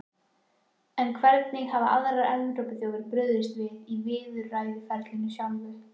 En hvernig hafa aðrar Evrópuþjóðir brugðist við í viðræðuferlinu sjálfu?